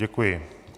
Děkuji.